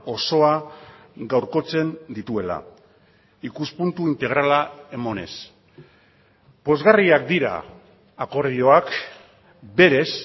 osoa gaurkotzen dituela ikuspuntu integrala emanez pozgarriak dira akordioak berez